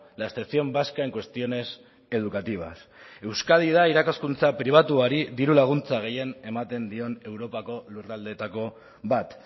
la excepción vasca en cuestiones educativas euskadi da irakaskuntza pribatuari dirulaguntza gehien ematen dion europako lurraldeetako bat